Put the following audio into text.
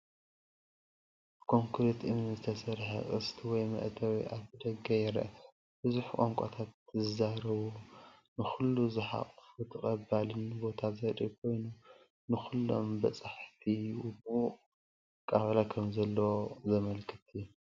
ብኮንክሪትን እምንን ዝተሰርሐ ቅስት ወይ መእተዊ ኣፍደገ ይርአ፣ ብዙሕ ቋንቋታት ዝዛረብ፣ ንኹሉ ዝሓቁፍን ተቐባሊን ቦታ ዘርኢ ኮይኑ፣ ንኹሎም በጻሕቲ ምዉቕ ኣቀባብላ ከምዘለዎም ዘመልክት እዩ፡፡